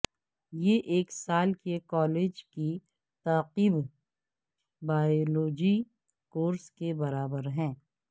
یہ ایک سال کے کالج کی تعقیب بائیوولوجی کورس کے برابر ہے